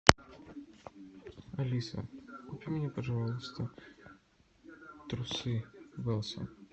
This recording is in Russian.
алиса купи мне пожалуйста трусы велсон